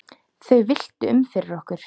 Þau villtu um fyrir okkur.